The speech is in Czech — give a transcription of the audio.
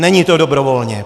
Není to dobrovolně!